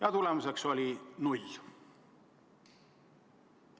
Aga tulemus oli null.